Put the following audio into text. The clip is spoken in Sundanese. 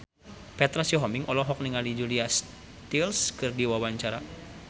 Petra Sihombing olohok ningali Julia Stiles keur diwawancara